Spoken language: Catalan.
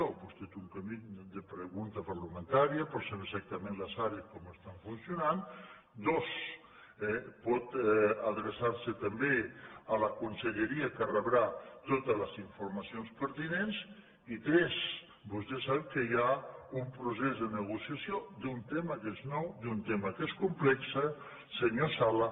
vostè té un camí de pregunta parlamentària per saber exac tament les àrees com estan funcionant dos pot adreçar se també a la conselleria que en rebrà totes les informacions pertinents i tres vostè sap que hi ha un procés de negociació d’un tema que és nou d’un tema que és complex senyor sala